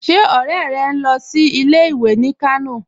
Ṣé ọ̀rẹ́ rẹ̀ ń lọ sí ilẹ̀-ìwé ní Kànò?